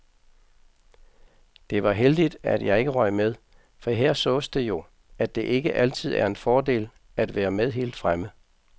Det var heldigt, at jeg ikke røg med, for her sås det jo, at det ikke altid er en fordel at være med helt fremme.